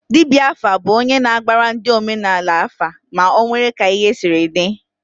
Dibịa afa bụ onye na-agbara ndị omenaala afa ma ọ nwee ka ihe siri dị